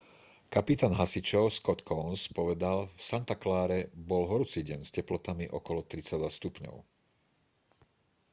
kapitán hasičov scott kouns povedal v santa clare bol horúci deň s teplotami okolo 32 stupňov